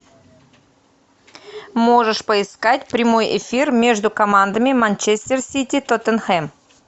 можешь поискать прямой эфир между командами манчестер сити тоттенхэм